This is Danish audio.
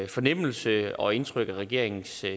fornemmelse og det indtryk af regeringens